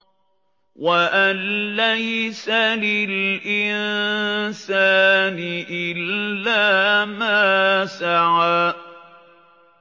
وَأَن لَّيْسَ لِلْإِنسَانِ إِلَّا مَا سَعَىٰ